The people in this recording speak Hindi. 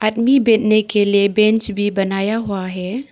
आदमी बैठने के लिए बैंच भी बनाया हुआ है।